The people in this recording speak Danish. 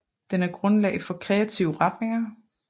Den er grundlag for kreative retninger